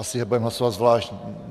Asi je budeme hlasovat zvlášť.